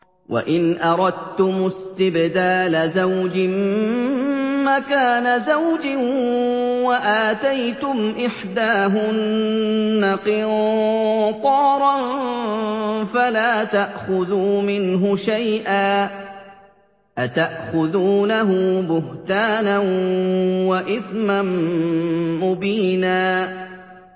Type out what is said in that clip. وَإِنْ أَرَدتُّمُ اسْتِبْدَالَ زَوْجٍ مَّكَانَ زَوْجٍ وَآتَيْتُمْ إِحْدَاهُنَّ قِنطَارًا فَلَا تَأْخُذُوا مِنْهُ شَيْئًا ۚ أَتَأْخُذُونَهُ بُهْتَانًا وَإِثْمًا مُّبِينًا